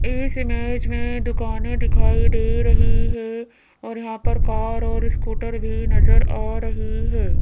इस इमेज में दूकाने दिखाई दे रही है और यहाँ पर कार और स्कूटर भी नजर आ रही है।